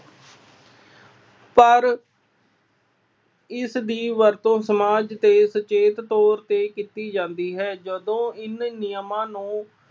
ਪਰ ਇਸਦੀ ਵਰਤੋਂ ਸਮਾਜ ਦੇ ਸੁਚੇਤ ਤੌਰ ਤੇ ਕੀਤੀ ਜਾਂਦੀ ਹੈ। ਜਦੋਂ ਇਨ੍ਹਾ ਨਿਯਮਾਂ ਨੂੰ